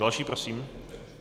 Další prosím.